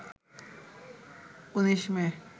১৯ মে